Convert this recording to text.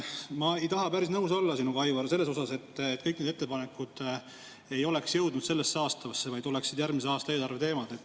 Ma ei taha päris nõus olla sinuga Aivar, selles osas, et kõik need ettepanekud ei oleks jõudnud sellesse aastasse, vaid oleksid järgmise aasta eelarve teemad.